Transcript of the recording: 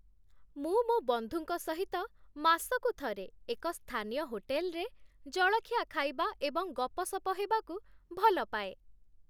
ମୁଁ ମୋ ବନ୍ଧୁଙ୍କ ସହିତ ମାସକୁ ଥରେ ଏକ ସ୍ଥାନୀୟ ହୋଟେଲ୍‌ରେ ଜଳଖିଆ ଖାଇବା ଏବଂ ଗପସପ ହେବାକୁ ଭଲପାଏ